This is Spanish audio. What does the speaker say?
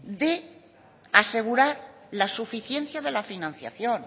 de asegurar la suficiencia de la financiación